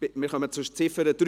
Wir kommen zur Ziffer 3.